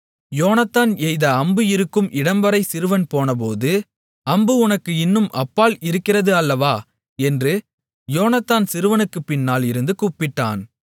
யோனத்தான் எய்த அம்பு இருக்கும் இடம்வரை சிறுவன் போனபோது அம்பு உனக்கு இன்னும் அப்பால் இருக்கிறது அல்லவா என்று யோனத்தான் சிறுவனுக்கு பின்னால் இருந்து கூப்பிட்டான்